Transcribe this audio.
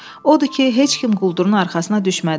Odur ki, heç kim quldurun arxasına düşmədi.